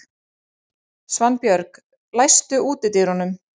Svanbjörg, læstu útidyrunum.